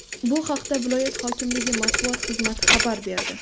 Bu haqda viloyat hokimligi matbuot xizmati xabar berdi.